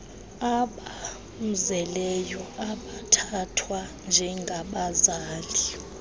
abamzeleyo abathathwa njengabazali